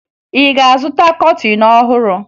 Ị ga-azụta kọtịn ọhụrụ?